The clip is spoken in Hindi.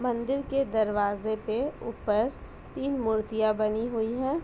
मंदिर के दरवाजे पे ऊपर तीन मूर्तियां बनी हुई हैं।